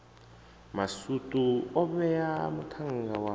masutu o vhae muṱhannga wa